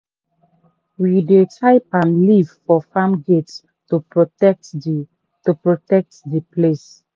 we dey tie palm leaf for farm gate to protect the to protect the place.